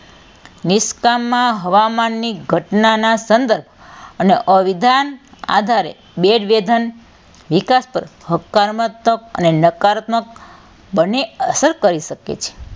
નિષ્કામમાં હવામાનની ઘટનાના સંદર્ભ અને અવિધાન આધારે બેજ વેધન વિકાસ પર હકારાત્મક અને નકારાત્મક બંને અસર કરી શકે છે.